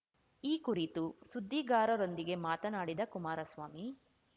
ಈ ಕುರಿತು ಸುದ್ದಿಗಾರರೊಂದಿಗೆ ಮಾತನಾಡಿದ ಕುಮಾರಸ್ವಾಮಿ